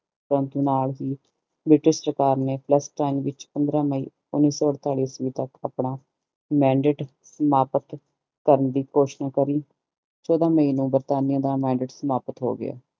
ਪੰਥ ਨਾਲ ਹੀ ਬ੍ਰਿਟਿਸ਼ ਸਰਕਾਰ ਵਿਚ ਆਪਣੇ ਆਪਣਾ ਸਮਾਪਤ ਕਰਨ ਦੀ ਕੋਸ਼ਿਸ਼ ਕੀਤੀ